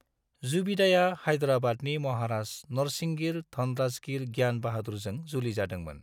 जुबिदाया हायद्राबादनि महाराज नरसिंगिर धनराजगीर ज्ञान बाहादुरजों जुलि जादोंमोन।